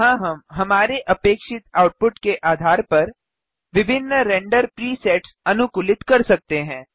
यहाँ हम हमारे अपेक्षित आउटपुट के आधार पर विभिन्न रेंडर प्रीसेट्स अनुकूलित कर सकते हैं